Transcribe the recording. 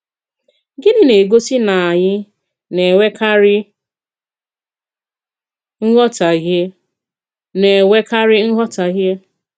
Gịnị na-egosí na anyị na-enwèkàrí nghọtàhìe? na-enwèkàrí nghọtàhìe?